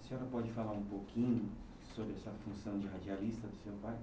A senhora pode falar um pouquinho sobre essa função de radialista do seu pai?